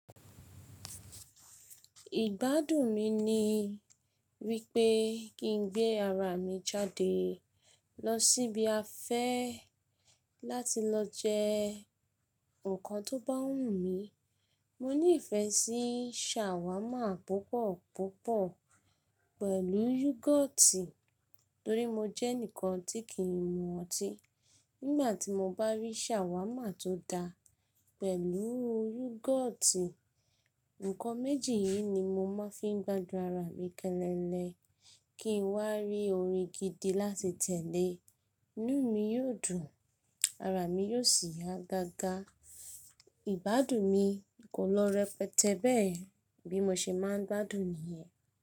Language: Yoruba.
Ìgbádùn mi ni wípé kín n gbé ara mi jáde lọ síbi afẹ́ láti lọ jẹ nnkan tó bá wù mí. Mo ní ìfẹ́ sí sàwámà púpọ̀púpọ̀ pẹ̀lú yúgọ́ọ́tì torí mo jẹ́ ẹnìkan tí kì í mu ọtí. Nígbà tí mo bá rí sàwámà tó da pẹ̀lú yúgọ́ọ́tì, nǹkan méjì yìí ni mo máa fi ń gbádùn ara mi kẹ́lẹ́lé kí n wá rí orin gidi láti tẹ̀lé, inú mi yóò dùn, ara mi yóò sì yá gágá. Ìgbádùn mi kò lọ rẹpẹtẹ bẹ́ẹ̀, bí mo ṣe máa ń gbádùn nìyẹn.